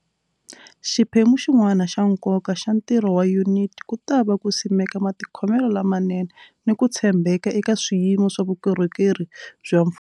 Xiphemu xin'wana xa nkoka xa ntirho wa Yuniti ku ta va ku simeka matikhomelo lamanene ni ku tshembeka eka swiyimo swa vukorhokeri bya mfumo.